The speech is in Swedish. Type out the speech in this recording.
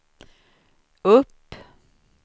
upp